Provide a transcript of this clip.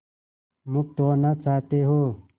मुक्त होना चाहते हो